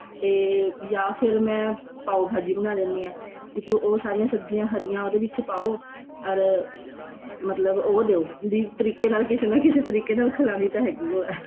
ਤੇ ਯਾ ਫੇਰ ਮੈਂ ਪਾਉ ਭਾਜੀ ਬਣਾ ਲੈਂਦੀ ਆ ਤੇ ਜੇ ਉਹ ਸਾਰੀਆਂ ਸਬਜੀਆਂ ਉਹਦੇ ਵਿੱਚ ਪਾਉ or ਮਤਲਬ ਉਹ ਦਿਔ ਵੀ ਤਰੀਕੇ ਨਾਲ ਕਿਸੇ ਨਾ ਕਿਸੇ ਤਰੀਕੇ ਨਾਲ ਖਿਲਾਨੀ ਤਾਂ ਹੈਗੀ ਓ ਏ